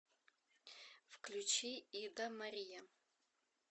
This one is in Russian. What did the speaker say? включи ида мария